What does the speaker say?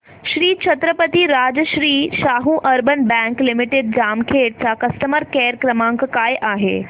Shri Chhatrapati Rajarshi Shahu urban bank limited Jamkhed चा customer care क्रमांक काय आहे